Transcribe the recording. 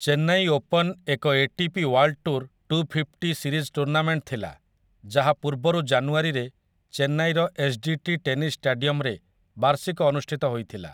Chennai open ଏକ ATP world tour 250 series tournament ଥିଲା, ଯାହା ପୂର୍ବରୁ ଜାନୁଆରୀରେ ଚେନ୍ନାଇର ଏସ୍‌ଡିଟି ଟେନିସ୍ ଷ୍ଟାଡିୟମରେ ବାର୍ଷିକ ଅନୁଷ୍ଠିତ ହୋଇଥିଲା ।